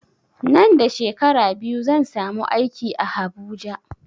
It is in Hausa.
Nan da shekara biyu zan samu aiki a habuja